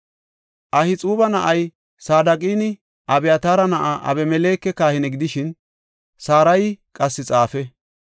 Ahixuuba na7ay Saadoqinne Abyataara na7ay Abimeleke kahine gidishin, Sarayi qassi xaafe.